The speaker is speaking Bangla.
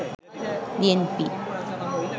বিএনপি